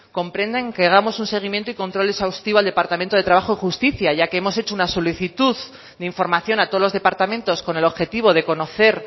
comprendan que hagamos un seguimiento y control exhaustivo al departamento de trabajo y justicia ya que hemos hecho una solicitud de información a todos los departamentos con el objetivo de conocer